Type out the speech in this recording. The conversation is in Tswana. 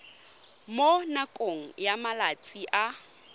mo nakong ya malatsi a